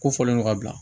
Ko fɔlen don ka bila